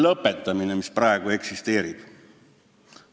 ... lõpetamine, mis praegu eksisteerivad.